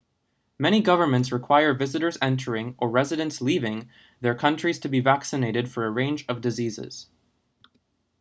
many governments require visitors entering or residents leaving their countries to be vaccinated for a range of diseases